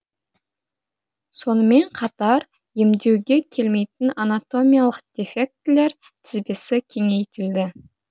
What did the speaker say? сонымен қатар емдеуге келмейтін анатомиялық дефектілер тізбесі кеңейтілді